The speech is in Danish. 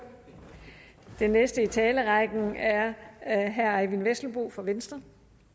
den næste i talerrækken er herre eyvind vesselbo fra venstre